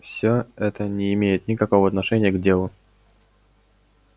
всё это не имеет никакого отношения к делу